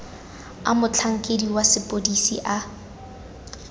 a motlhankedi wa sepodisi a